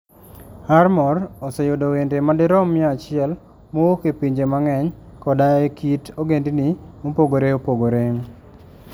Armor oseyudo wende madirom mia achiel mowuok e pinje mang'eny koda e kit ogendini mopogore opogore.